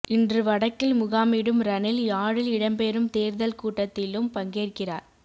இன்று வடக்கில் முகாமிடும் ரணில் யாழில் இடம்பெறும் தேர்தல் கூட்டத்திலும் பங்கேற்கிறார்